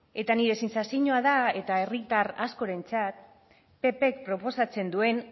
eta nire sentsazioa da eta herritar askorentzat ppk proposatzen duena